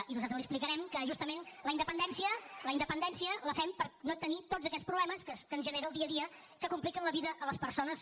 i nosaltres li explicarem que justament la independència la independència la fem per no tenir tots aquests problemes que ens genera el dia a dia que compliquen la vida a les persones